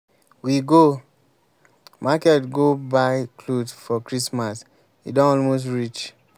we go market go buy cloth for christmas. e don almost reach.